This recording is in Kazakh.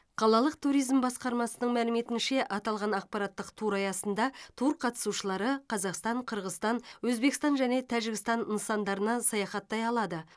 қалалық туризм басқармасының мәліметінше аталған ақпараттық тур аясында тур қатысушылары қазақстан қырғызстан өзбекстан және тәжікстан нысандарына саяхаттай алады